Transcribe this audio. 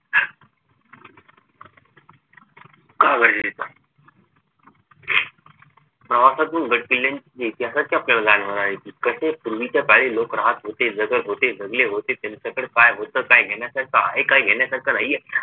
का गरजेचा प्रवासातून इतिहासाच्या कसे पूर्वीच्या काळी लोक राहत होते जगत होते जगले होते त्यांच्याकडे काय होत काय घेण्यासारखं आहे काय घेण्यासारखं नाहीये